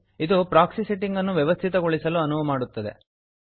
ಇದು proxy settings ಅನ್ನು ವ್ಯವಸ್ಥಿತಗೊಳಿಸಲು ಅನುವು ಮಾಡುತ್ತದೆ